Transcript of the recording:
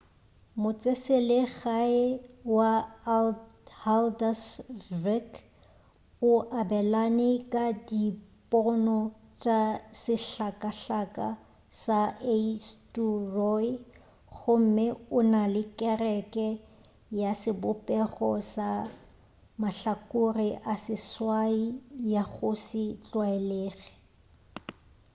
motseselegae wa haldarsvík o abelana ka dipono tša sehlakahlaka sa eysturoy gomme o na le kereke ya sebopego sa mahlakore a seswai ya go se tlwaelege